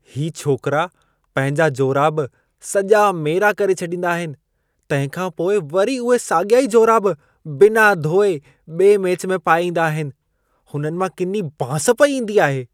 ही छोकरा पंहिंजा जोराब सॼा मेरा करे छॾींदा आहिनि, तंहिंखां पोइ वरी उहे साॻिया ई जोराब बिना धोए, ॿिए मैच में पाए ईंदा आहिनि। हुननि मां किनी बांस पई ईंदी आहे।